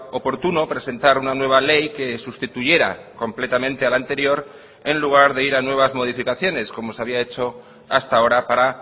oportuno presentar una nueva ley que sustituyera completamente a la anterior en lugar de ir a nuevas modificaciones como se había hecho hasta ahora para